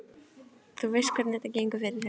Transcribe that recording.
Þú veist hvernig þetta gengur fyrir sig.